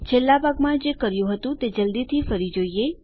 છેલ્લા ભાગમાં જે કર્યું હતું તે જલ્દીથી ફરી જોઈએ